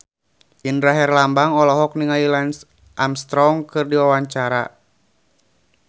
Indra Herlambang olohok ningali Lance Armstrong keur diwawancara